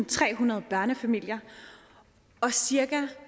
trehundrede børnefamilier og cirka